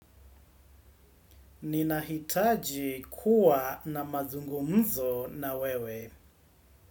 Ninahitaji kuwa na mazungumzo na wewe.